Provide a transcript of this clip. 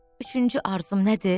Üçüncü arzum nədir?